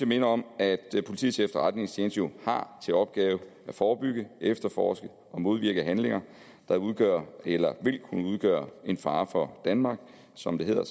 minde om at politiets efterretningstjeneste jo har til opgave at forebygge efterforske og modvirke handlinger der udgør eller vil kunne udgøre en fare for danmark som det hedder